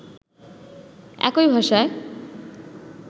একই ভাষায়